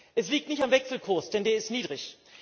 Es liegt nicht am Wechselkurs, denn deer ist niedrig.